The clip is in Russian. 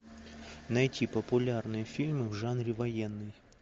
найти популярные фильмы в жанре военный